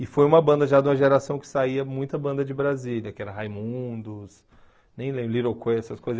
E foi uma banda já de uma geração que saía muita banda de Brasília, que era Raimundos, nem lembro, Little Quay, essas coisas.